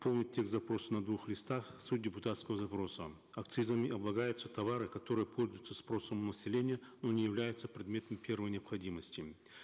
полный текст запроса на двух листах суть депутатского запроса акцизами облагаются товары которые пользуются спросом у населения но не являются предметом первой необходимости